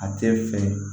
A tɛ fɛ